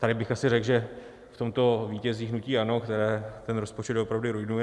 Tady bych asi řekl, že v tomto vítězí hnutí ANO, které ten rozpočet doopravdy ruinuje.